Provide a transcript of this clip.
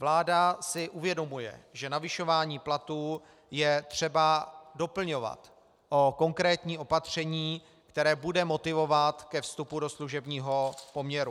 Vláda si uvědomuje, že navyšování platů je třeba doplňovat o konkrétní opaření, které bude motivovat ke vstupu do služebního poměru.